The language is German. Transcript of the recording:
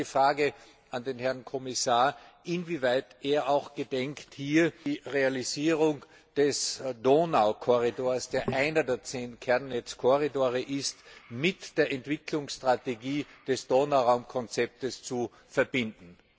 Ich habe hier die Frage an den Herrn Kommissar, inwieweit er auch gedenkt, die Realisierung des Donaukorridors, der einer der zehn Kernnetzkorridore ist, mit der Entwicklungsstrategie des Donauraumkonzepts zu verbinden.